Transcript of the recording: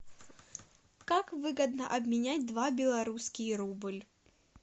как выгодно обменять два белорусский рубль